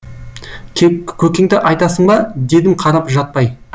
көкеңді айтасың ба дедім қарап жатпай